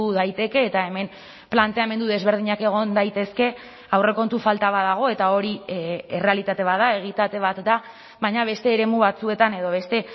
daiteke eta hemen planteamendu desberdinak egon daitezke aurrekontu falta bat dago eta hori errealitate bat da egitate bat da baina beste eremu batzuetan edo beste